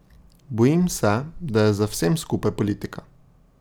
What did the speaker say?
Bojim se, da je za vsem skupaj politika.